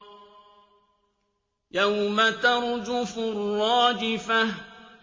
يَوْمَ تَرْجُفُ الرَّاجِفَةُ